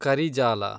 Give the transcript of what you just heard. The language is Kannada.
ಕರಿಜಾಲ